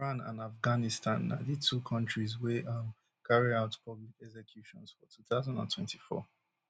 iran and afghanistan na di two kontris wey um carry out public executions for two thousand and twenty-four